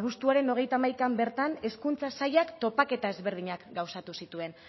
abuztuaren hogeita hamaikan bertan hezkuntza sailak topaketa ezberdinak gauzatu zituen